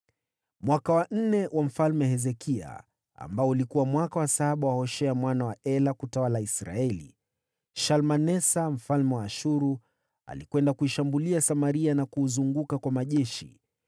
Mwaka wa nne wa Mfalme Hezekia, ambao ulikuwa mwaka wa saba wa Hoshea mwana wa Ela kutawala Israeli, Shalmanesa mfalme wa Ashuru alikwenda kuishambulia Samaria na kuuzunguka kwa majeshi.